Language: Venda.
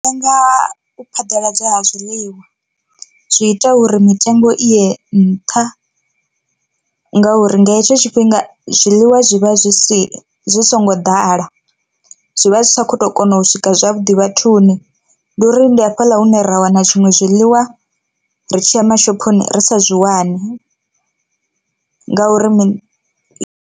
U lenga u phaḓaladzwa ha zwiḽiwa zwi ita uri mitengo i ye nṱha ngauri nga hetsho tshifhinga zwiḽiwa zwi vha zwi si zwi songo ḓala zwivha zwi tshi kho to kona u swika zwavhuḓi vhathuni, ndi uri ndi hafhaḽa hune ra wana tshiṅwe zwiḽiwa ri tshiya mashophoni ri sa zwi wani ngauri mini i.